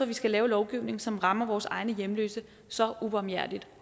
vi skal lave lovgivning som rammer vores egne hjemløse så ubarmhjertig